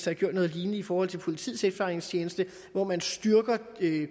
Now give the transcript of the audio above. har gjort noget lignende i forhold til politiets efterretningstjeneste hvor man styrker